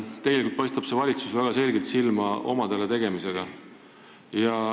Praegune valitsus paistab väga selgelt silma omade soosimisega.